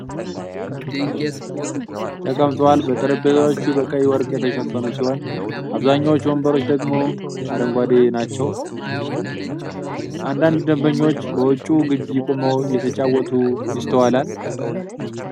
ተቀምጠዋል ። ጠረጴዛዎቹ በቀይ ጨርቅ የተሸፈኑ ሲሆኑ፣ አብዛኛዎቹ ወንበሮች ደግሞ አረንጓዴ ናቸው ። አንዳንድ ደንበኞች በውጪው ግቢ ቆመው እየተጨዋወቱ ይስተዋላል።